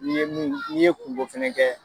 N'i ye mun n'i ye kungo fɛnɛ kɛ